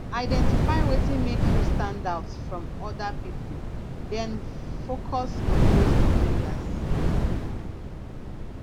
identify wetin make you stand out from oda pipo then focus on those areas